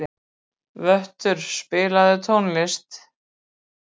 Vöttur, spilaðu tónlist.